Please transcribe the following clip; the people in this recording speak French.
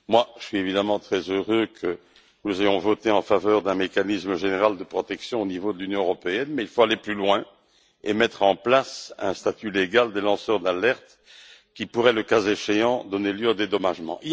Je suis évidemment très heureux que nous ayons voté en faveur d'un mécanisme général de protection au niveau de l'Union européenne, mais il faut aller plus loin et mettre en place un statut légal des lanceurs d'alerte, qui pourrait, le cas échéant, donner lieu à des dédommagements.